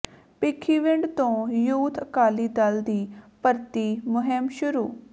ਭਿੱਖੀਵਿੰਡ ਤੋਂ ਯੂਥ ਅਕਾਲੀ ਦਲ ਦੀ ਭਰਤੀ ਮੁਹਿੰਮ ਸ਼ੁਰੂ